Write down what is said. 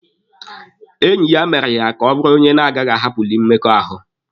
Enyi ya mere ya ka ọ bụrụ onye na-agaghị ahapụlị mmekọahụ.